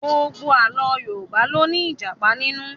Gbogbo Àlọ́ Yorùbá ló ní Ìjàpá nínú